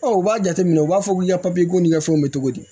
u b'a jateminɛ u b'a fɔ k'i ka ko ni fɛnw bɛ cogo di